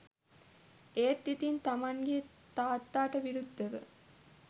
ඒත් ඉතින් තමන්ගෙ තාත්තට විරුද්ධව